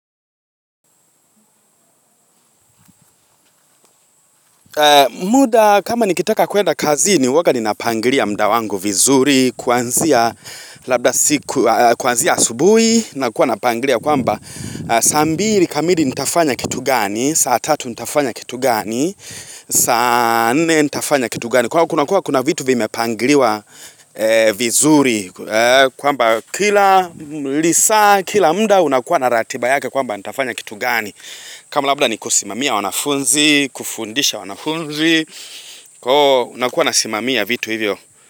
Muda kama nikitaka kuenda kazini huwaga ninapangilia muda wangu vizuri, kuanzia labda siku, kuanzia asubuhi nakuwa napangilia kwamba saa mbili kamili nitafanya kitu gani, saa tatu nitafanya kitu gani saa nne nitafanya kitu gani. Kwa hiyo kuna kuwa kuna vitu vimepangiliwa vizuri kwamba kila lisaa kila muda unakuwa na ratiba yake kwamba nitafanya kitu gani kama labda ni kusimamia wanafunzi, kufundisha wanafunzi nakuwa nasimamia vitu hivyo.